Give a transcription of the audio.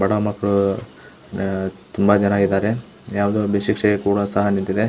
ಬಡ ಮಕ್ಕಳು ತುಂಬಾ ಜನ ಇದ್ದಾರೆ ಯಾವ್ದೋ --